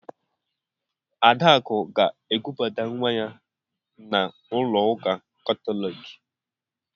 Adakụ ga-ekubata nwa ya n'ụlọ ụka Katọliki.